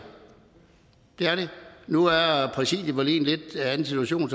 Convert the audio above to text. det er det nu er er præsidiet vel i en lidt anden situation